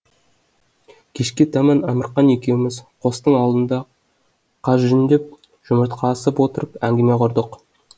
кешке таман әмірқан екеуміз қостың алдында қаз жүндеп жұмыртқа асып отырып әңгіме құрдық